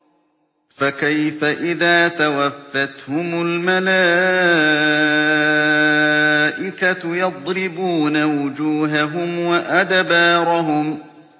فَكَيْفَ إِذَا تَوَفَّتْهُمُ الْمَلَائِكَةُ يَضْرِبُونَ وُجُوهَهُمْ وَأَدْبَارَهُمْ